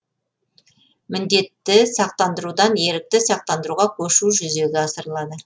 міндетті сақтандырудан ерікті сақтандыруға көшу жүзеге асырылады